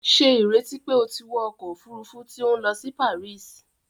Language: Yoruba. Ṣe ìrètí pé o tí wọ ọkọ òfurufú tí o n lọ si Paris!?